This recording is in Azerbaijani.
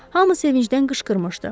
Hamı sevincdən qışqırmışdı.